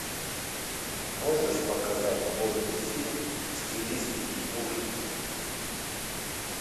можешь показать годный фильм в стилистике ужасов